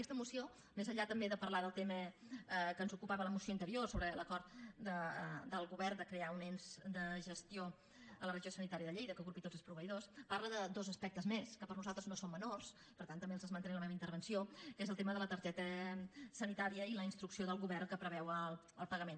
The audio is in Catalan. aquesta moció més enllà també de parlar del tema que ens ocupava a la moció anterior sobre l’acord del govern de crear un ens de gestió a la regió sanitària de lleida que agrupi tots els proveïdors parla de dos aspectes més que per nosaltres no són menors per tant també els esmentaré en la meva intervenció que és el tema de la targeta sanitària i la instrucció del govern que en preveu el pagament